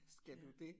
Skal du dét